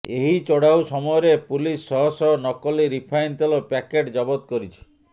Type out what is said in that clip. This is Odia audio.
ଏହି ଚଢ଼ାଉ ସମୟରେ ପୁଲିସ ଶହଶହ ନକଲି ରିଫାଇନ୍ ତେଲ ପ୍ୟାକେଟ ଜବତ କରିଛି